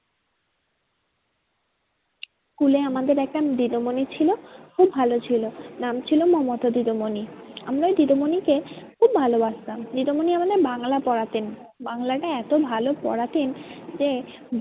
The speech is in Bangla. School আমাদের একটা দিদিমনি ছিল খুব ভালো ছিল নাম ছিল মমতা দিদিমনি। আমরা ওই দিদিমনিকে খুব ভালোবাসতাম দিদিমনি আমাদের বাংলা পড়াতেন। বাংলাটা এতো ভালো পড়াতেন যে